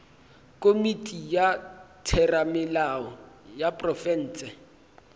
komiti ya theramelao ya profense